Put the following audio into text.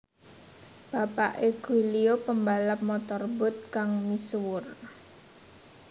Bapake Giulio pembalap motorboat kang misuwur